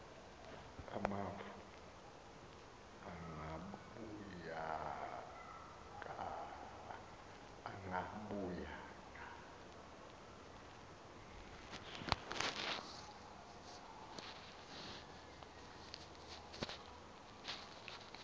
amafu agabukayo watsho